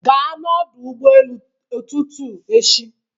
Gaa n'ọdụ ụgbọ elu ụtụtụ echi.